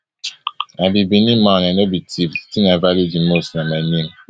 i be benin man i i no be thief di tin i value di most na my name